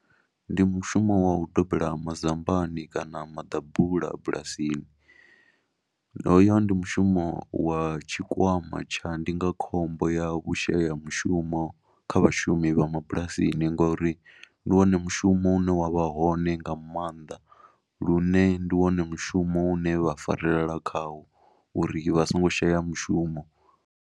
Ndi mushumo wa u gobela mazambani kana maḓabula bulasini, hoyo ndi mushumo wa tshikwama tsha ndindakhombo ya vhushayamushumo kha vhashumi vha mabulasini ngori ndi wone mushumo une wa vha hone nga maanḓa lune ndi wone mushumo une vha farelela khaho uri vha songo shaya mushumo.